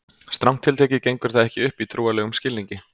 Strangt til tekið gengur það ekki upp í trúarlegum skilningi.